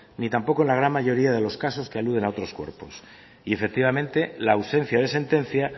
ni tampoco en la gran mayoría de los casos que aluden a otros cuerpos y efectivamente la ausencia de sentencia